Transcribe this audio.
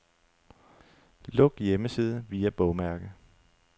Luk hjemmeside via bogmærke.